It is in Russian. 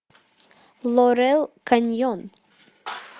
лорел каньон